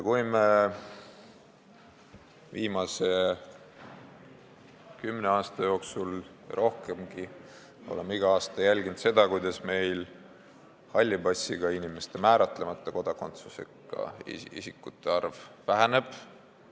Oleme viimase kümne aasta jooksul ja kauemgi jälginud igal aastal seda, kuidas meil halli passiga inimeste, määratlemata kodakondsusega isikute arv väheneb.